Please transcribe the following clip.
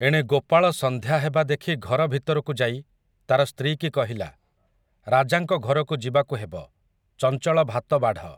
ଏଣେ ଗୋପାଳ ସଂନ୍ଧ୍ୟା ହେବା ଦେଖି ଘର ଭିତରକୁ ଯାଇ ତା'ର ସ୍ତ୍ରୀକି କହିଲା, ରାଜାଙ୍କ ଘରକୁ ଯିବାକୁ ହେବ, ଚଂଚଳ ଭାତ ବାଢ଼ ।